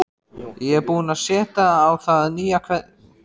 Ég er búin að setja á það nýja keðju